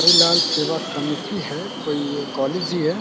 श्री लाल सेवा समिति है कोई ये कॉलेज ही है।